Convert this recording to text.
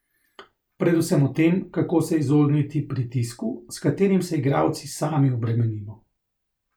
Predvsem o tem, kako se izogniti pritisku, s katerim se igralci sami obremenimo.